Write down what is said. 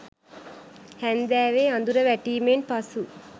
හැන්දෑවේ අදුර වැටීමෙන් පසු